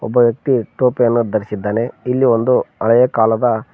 ಒಬ್ಬ ವ್ಯಕ್ತಿ ಟೋಪಿಯನ್ನು ಧರಿಸಿದ್ದಾನೆ ಇಲ್ಲಿ ಒಂದು ಹಳೆಯ ಕಾಲದ--